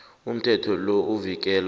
umthetho lo uvikela